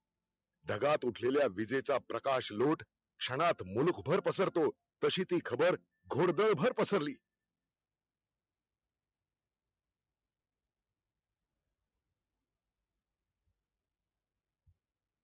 ढगात उठलेल्या विजेचा प्रकाश लोट क्षणात मुलुखभर पसरतो तशी ती खबर घोडदळ पसरली